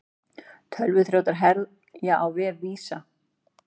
Tölvuþrjótar herja á vef Visa